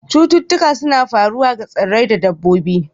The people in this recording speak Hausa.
Cututtuka suna faruwa ga tsirrai da dabbobi.